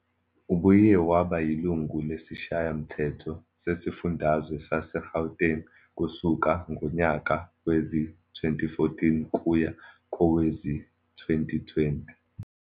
Ubuye waba yilungu lesiShayamthetho sesiFundazwe saseGauteng kusuka ngonyaka wezi-2014 kuya kowezi-2020.